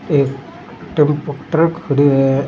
एक turbo truck खड़ी है।